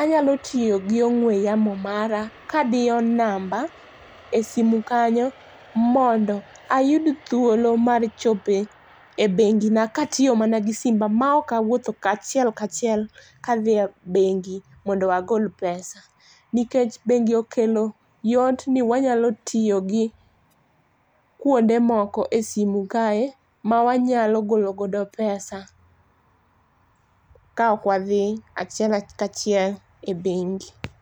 anyalo tiyo gi ongwe yamo mara kadiyo namba e simu kanyo mondo ayud thuolo mar chopo e bengina katiyo mana gi simba maok awuotho aachiel kachiel kadhi e bengi mondo agol pesa nikech bengi okelo yot ni wanyalo tiyo gi kuonde moko e simu kae mawanyalo golo godo pesa kaok wadhi achiel ka achiel e bengi